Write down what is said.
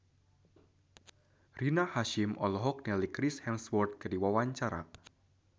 Rina Hasyim olohok ningali Chris Hemsworth keur diwawancara